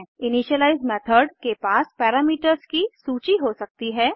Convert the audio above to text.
initialise method के पास parameters की सूची हो सकती है